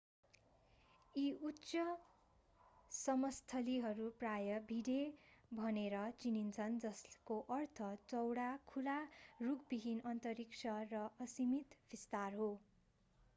यी उच्च समस्थलीहरू प्राय भिडे भनेर चिनिन्छन् जसको अर्थ चौडा खुला रुखविहीन अन्तरिक्ष र असीमित विस्तार हो